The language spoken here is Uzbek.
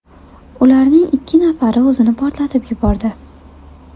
Ularning ikki nafari o‘zini portlatib yubordi.